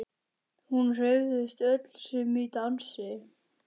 Hún hreyfist öll sem í dansi.